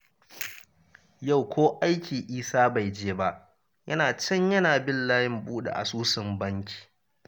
Yau ko aiki Isa bai je ba, yana can yana bin layin buɗe asusun banki